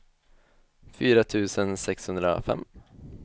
fyra tusen sexhundrafem